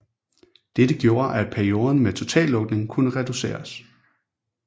Dette gjorde at perioden med totallukning kunne reduceres